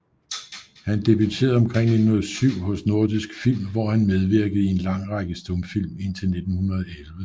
Han debuterede omkring 1907 hos Nordisk Film hvor han medvirkede i en lang række stumfilm indtil 1911